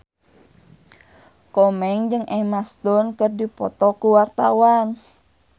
Komeng jeung Emma Stone keur dipoto ku wartawan